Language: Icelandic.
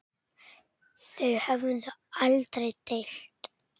Þau höfðu aldrei deilt.